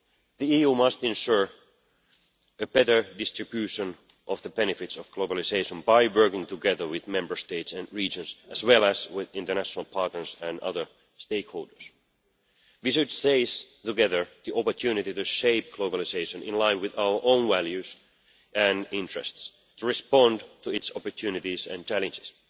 The EU must ensure a better distribution of the benefits of globalisation by working together with Member States and regions, as well as with international partners and other stakeholders. Together we should seize the opportunity to shape globalisation, in line with our own values and interests, in order to respond to its opportunities and challenges.